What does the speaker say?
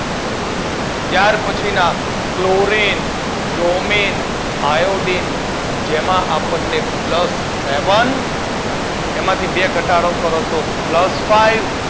ત્યાર પછીના chlorine, bromine, iodine તેમાં આપણને પ્લસ સેવન તેમાંથી બે ઘટાડો તો પ્લસ ફાઇવ, તેમાંથી બીજા બે